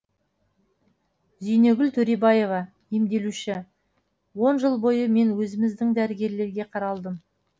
зейнегүл төребаева емделуші он жыл бойы мен өзіміздің дәрігерлерге қаралдым